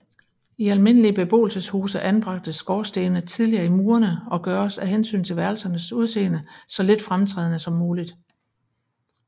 I almindelige beboelseshuse anbragtes skorstene tidligere i murene og gøres af hensyn til værelsernes udseende så lidt fremtrædende som muligt